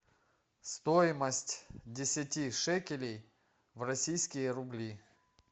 стоимость десяти шекелей в российские рубли